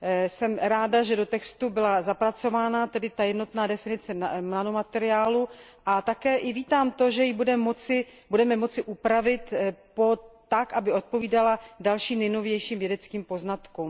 Jsem ráda, že do textu byla zapracována jednotná definice nanomateriálu a také vítám to, že ji budeme moci upravit tak, aby odpovídala dalším nejnovějším vědeckým poznatkům.